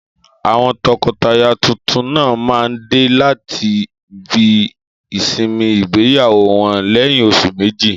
Àwọn tọkọtaya tuntun náà máa dé láti ibi ìsinmi ìgbéyàwó wọn lẹ́yìn oṣù méjì.